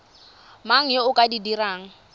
mang yo o ka dirang